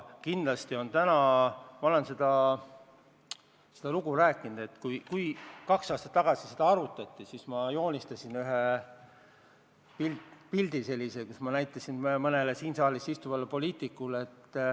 Ma olen seda lugu rääkinud, et kui seda probleemi kaks aastat tagasi arutati, siis ma joonistasin ühe pildi, mida ma näitasin mõnele siin saalis istuvale poliitikule.